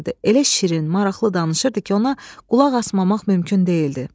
Elə şirin, maraqlı danışırdı ki, ona qulaq asmamaq mümkün deyildi.